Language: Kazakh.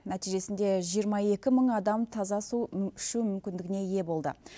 нәтижесінде жиырма екі мың адам таза су ішу мүмкіндігіне ие болды